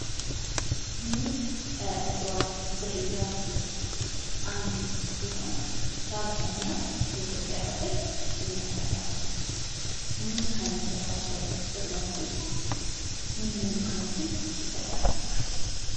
ሙዝ ከእፅዋት ዝርያዎች ውስጥ አንዱ ሲሆን በአብዛኛው የኢትዮጵያ ክፍል ይመረታል። ሙዝ ከሚሰጣቸው ጥቅሞች ውስጥ ምን ምን ጥቅሞችን ይሰጣል?